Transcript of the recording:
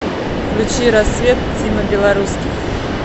включи рассвет тима белорусских